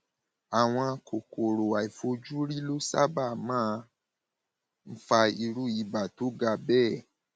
àwọn kòkòrò àìfojúrí ló sábà máa ń fa irú ibà tó ga bẹẹ